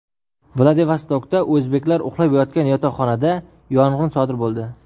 Vladivostokda o‘zbeklar uxlab yotgan yotoqxonada yong‘in sodir bo‘ldi .